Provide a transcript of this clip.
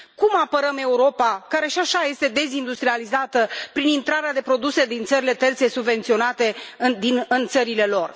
Cum apărăm Europa, care și așa este dezindustrializată, prin intrarea de produse din țările terțe subvenționate în țările lor?